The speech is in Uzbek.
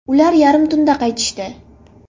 Ular yarmi tunda qaytishdi.